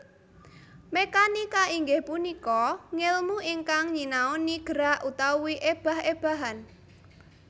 Mékanika inggih punika ngèlmu ingkang nyinaoni gerak utawi ébah ébahan